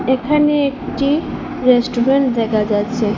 এখানে একটি রেস্টুরেন্ট দেখা যাচ্ছে।